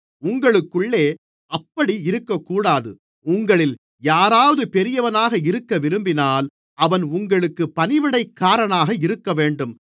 உங்களுக்குள்ளே அப்படி இருக்கக்கூடாது உங்களில் யாராவது பெரியவனாக இருக்கவிரும்பினால் அவன் உங்களுக்குப் பணிவிடைக்காரனாக இருக்கவேண்டும்